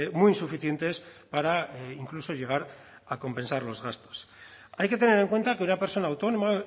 muy insuficientes para incluso llegar a compensar los gastos hay que tener en cuenta que una persona autónoma